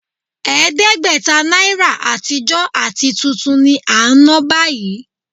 Ẹ̀ẹ́dẹ́gbẹ̀ta náírà àtijọ́ àti tuntun ni à ń ná báyìí